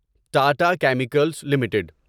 Tata chemicals limited